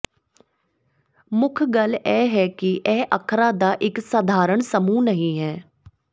ਮੁੱਖ ਗੱਲ ਇਹ ਹੈ ਕਿ ਇਹ ਅੱਖਰਾਂ ਦਾ ਇੱਕ ਸਧਾਰਨ ਸਮੂਹ ਨਹੀਂ ਹੈ